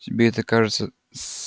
тебе это кажется с